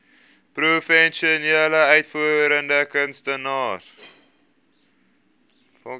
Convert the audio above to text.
professionele uitvoerende kunstenaars